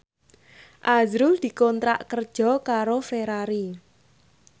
azrul dikontrak kerja karo Ferrari